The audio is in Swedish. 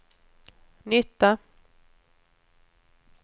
nytta